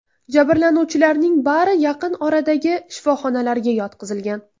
Jabrlanuvchilarning bari yaqin oradagi shifoxonalarga yotqizilgan.